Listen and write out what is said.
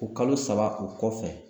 O kalo saba o kɔfɛ